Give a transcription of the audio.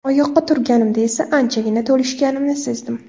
Oyoqqa turganimda esa anchagina to‘lishganimni sezdim.